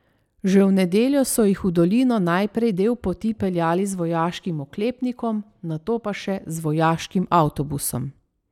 Že v nedeljo so jih v dolino najprej del poti peljali z vojaškim oklepnikom, nato pa še z vojaškim avtobusom.